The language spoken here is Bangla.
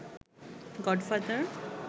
গডফাদার